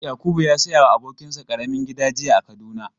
Yakubu ya saya wa abokin sa ƙaramin gida jiya a Kaduna.